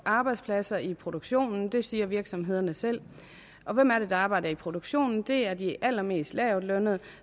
arbejdspladser i produktionen det siger virksomhederne selv og hvem er det der arbejder i produktionen det er de allermest lavtlønnede